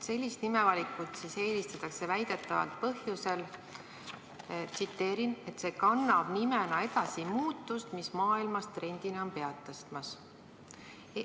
Sellist nimevalikut eelistatakse väidetavalt põhjusel, et – ma tsiteerin – "see kannab nimena edasi muutust, mis maailmas trendina on pead tõstmas.